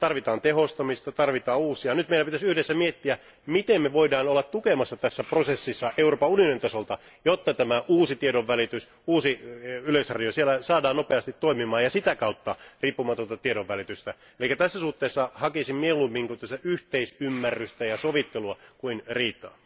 Tarvitaan tehostamista, tarvitaan uudistuksia. Nyt meidän pitäisi yhdessä miettiä, miten me voimme olla tukemassa tässä prosessissa Euroopan unionin tasolta, jotta tämä uusi tiedonvälitys, uusi yleisradio, siellä saadaan nopeasti toimimaan ja sitä kautta riippumatonta tiedonvälitystä. Eli tässä suhteessa hakisin mieluummin yhteisymmärrystä ja sovittelua kuin riitaa.